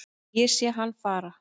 Ég sé hann fara